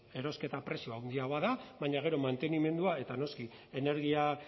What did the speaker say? erosketa prezioa handiagoa da baina gero mantenimendua eta noski energia